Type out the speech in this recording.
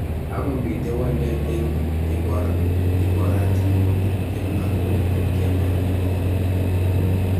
Ako mitei walet eng ikorat nebo tiptem ak mut kemake pokol.